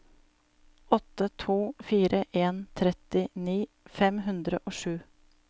åtte to fire en trettini fem hundre og sju